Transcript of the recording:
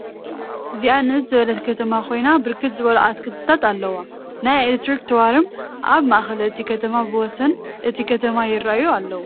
እዚኣ ንእስ ዝበለት ከተማ ኮይና ብርክት ዝበሉ አትክልቲታት አለውዋ፡፡ ናይ ኤለክትሪክ ታዎርም አብ ማእከል እቲ ከተማን ብወሰን እቲ ከተማን ይረአዩ አለዉ፡፡